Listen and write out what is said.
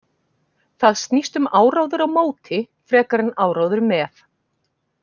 Það snýst um áróður á móti frekar en áróður með.